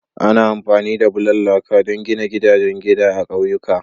Ana amfani da bulan laka don gina gidajen gida a ƙauyuka.